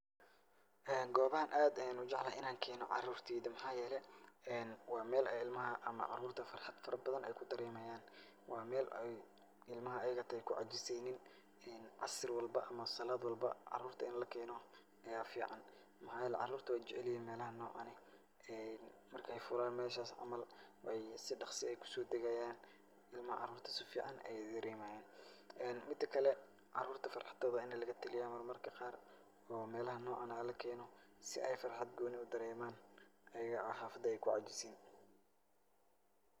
Gobahan aad ayan u jeclahay inaan keeno carurteyda maxaa yeele ee waa mel ilmaha ama carurta farxad fara badan ay ku dareeman . Waa mel ilmaha ayaga xita ay ku cajiseynin asar walba ama salad walbo in lakeno aya fican. maxaa yeele carurta way jecelyihin melaha noocan ah ee markay fulan meshas camal ay si dhaqsi ah kusodagayan ilmaha carurta si fican ayay daremayan. midakale carurta farxadooda waa in lagataliya mar marka qaar oo melaha noocan ah lakeeno si ay farxad gooni ah u dareeman ayago ay xafada ay ku cajisayn.